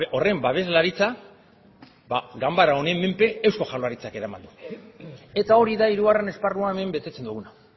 horren babeslaritza ganbara honen menpe eusko jaurlaritzak eraman du eta hori da hirugarren esparruan hemen betetze duguna